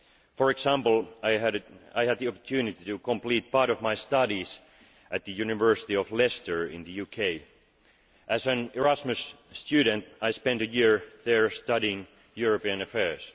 For example, I had the opportunity to complete part of my studies at the University of Leicester in the UK. As an Erasmus student I spent a year there studying European affairs.